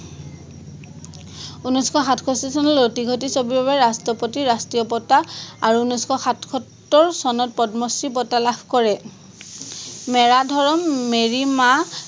উনৈচশ সাতষষ্ঠী চনত লটিঘটি ছবিৰ বাবে ৰাষ্ট্ৰপতিৰ ৰাষ্ট্ৰীয় বঁটা আৰু উনৈচশ সাতসত্তৰ চনত পদ্মশ্ৰী বটা লাভ কৰে মেৰা ধৰম মেৰি মা